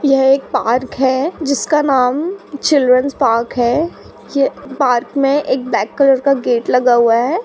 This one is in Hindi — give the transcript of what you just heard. '' यह एक पार्क है जिसका नाम चिल्ड्रेन्स पार्क है। यह पार्क में एक ब्लैक कलर का गेट लगा हुआ है। ''